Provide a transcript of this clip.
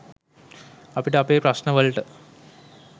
අපිට අපේ ප්‍රශ්ණ වලට